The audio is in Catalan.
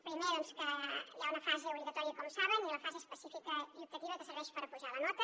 primer que hi ha una fase obligatòria com saben i la fase específica i optativa que serveix per apujar la nota